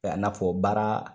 A n'a fɔ baara